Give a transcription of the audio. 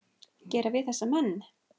gera við þessa menn?